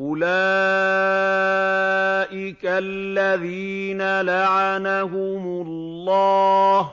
أُولَٰئِكَ الَّذِينَ لَعَنَهُمُ اللَّهُ ۖ